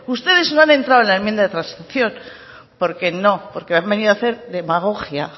ustedes no han entrado en la enmienda de transacción porque no porque han venido a hacer demagogia